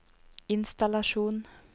innstallasjon